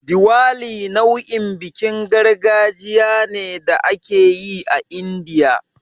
Diwali nau'in bikin gargajiya ne da ake yi a Indiya.